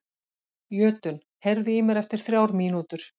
Jötunn, heyrðu í mér eftir þrjár mínútur.